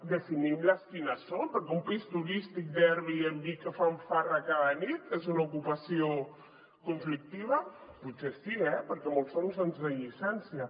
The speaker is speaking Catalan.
definim les quines són perquè un pis turístic d’airbnb que fan farra cada nit és una ocupació conflictiva potser sí eh perquè molts són sense llicència